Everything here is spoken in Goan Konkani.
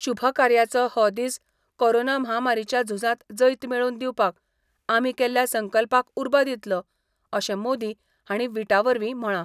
शुभ कार्याचो हो दिस कोरोना महामारीच्या झुंजात जैत मेळोवन दिवपाक, आमी केल्ल्या संकल्पाक उर्बा दितलो, अशे मोदी हाणी विटावरवी म्हळा.